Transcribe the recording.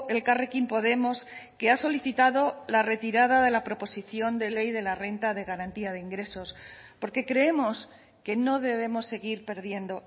elkarrekin podemos que ha solicitado la retirada de la proposición de ley de la renta de garantía de ingresos porque creemos que no debemos seguir perdiendo